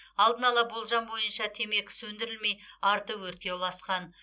алдын ала болжам бойынша темекі сөндірілмей арты өртке ұласқан